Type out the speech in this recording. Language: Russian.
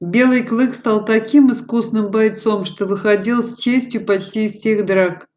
белый клык стал таким искусным бойцом что выходил с честью почти из всех драк